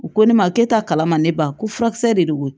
U ko ne ma ke taa kala ma ne ban ko furakisɛ de don